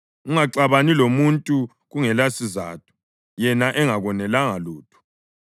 Ungaxabani lomuntu kungelasizatho yena engakonelanga ngalutho.